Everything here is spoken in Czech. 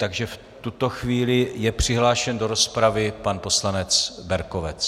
Takže v tuto chvíli je přihlášen do rozpravy pan poslanec Berkovec.